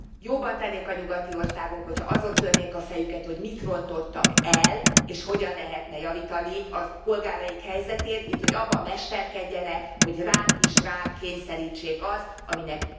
Jobban tennék a nyugati országok, hogy ha azon törnék a fejüket, hogy mit rontottak el, és hogyan lehetne javítani a polgáraik helyzetén, minthogy abban mesterkedjenek, hogy ránk is ránk kényszerítsék azt, aminek...